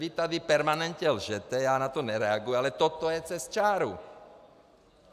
Vy tady permanentně lžete, já na ta nereaguji, ale toto je přes čáru.